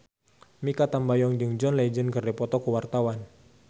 Mikha Tambayong jeung John Legend keur dipoto ku wartawan